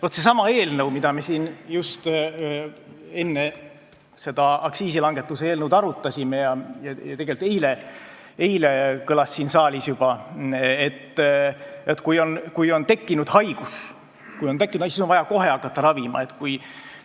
Vaat, sellesama eelnõu arutelul, mida me siin arutasime just enne seda aktsiisilangetuse eelnõu, ja tegelikult juba eile kõlas siin saalis mõte, et kui on tekkinud haigus, siis on vaja kohe ravima hakata.